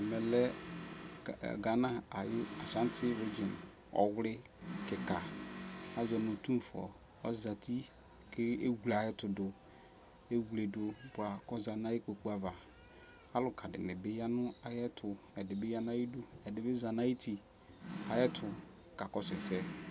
ɛmɛ lɛ Ghana ayʋ Ashanti region, ɔwli kikaa azɔnʋ ɔtʋmfʋɔ ɔzati kʋ ɛwlɛ ayɛtʋdʋ, ɛwlɛ dʋ bʋa kʋ ɔzati nʋ ikpɔkʋ aɣa, alʋka dinibi yanʋ ayɛtʋ, ɛdibi yanʋ ayɛtʋ, ɛdibi zanʋ ayiti ayɛtʋ kakɔsʋ ɛsɛ